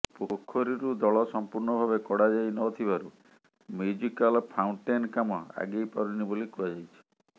ପୋଖରୀରୁ ଦଳ ସମ୍ପୂର୍ଣ୍ଣ ଭାବେ କଢ଼ାଯାଇ ନଥିବାରୁ ମ୍ୟୁଜିକାଲ ଫାଉଣ୍ଟେନ୍ କାମ ଆଗେଇପାରୁନି ବୋଲି କୁହାଯାଇଛିି